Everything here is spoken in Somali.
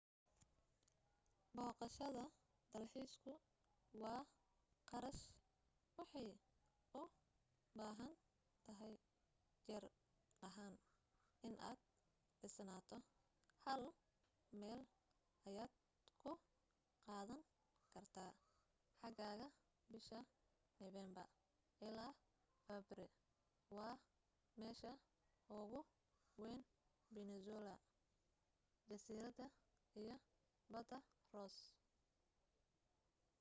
boqashada dalxiisku waa qarash waxay u baahan tahay jir ahan inad dhisnaato hal meel ayad ku qaadan kartaa xaagaga bisha novermber ilaa february waa meesha ugu weyn peninsula jasirada iyo bada ross